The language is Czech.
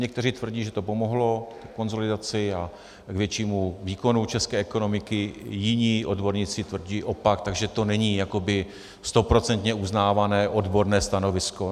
Někteří tvrdí, že to pomohlo ke konsolidaci a k většímu výkonu české ekonomiky, jiní odborníci tvrdí opak, takže to není jakoby stoprocentně uznávané odborné stanovisko.